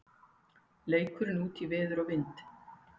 Leikurinn útí veður og vind